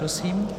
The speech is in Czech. Prosím.